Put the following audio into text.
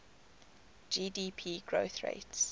gdp growth rates